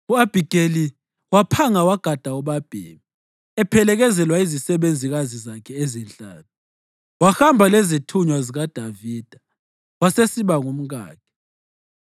U-Abhigeli waphanga wagada ubabhemi, ephelekezelwa yizisebenzikazi zakhe ezinhlanu, wahamba lezithunywa zikaDavida wasesiba ngumkakhe.